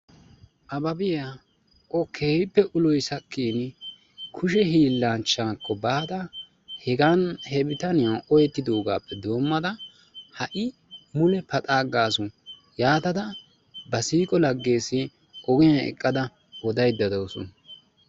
ababiya o keehippe ulloy sakkin kushee hillanchchakko baada he bitaniyaan oohetidoogappe doommada ha'i mule paxxa aggasu. yaatada ba siiqo lagees ogiyaa eqqada odaydda dawusu.